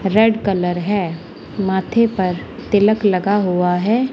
Red colour है माथे पर तिलक लगा हुआ है।